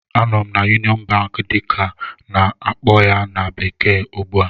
Anọ m na "Union Bank" dịka a na-akpọ ya na bekee ugbu a